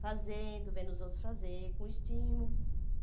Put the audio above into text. Fazendo, vendo os outros fazer, com estímulo.